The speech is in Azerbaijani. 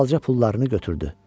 Halalca pullarını götürdü.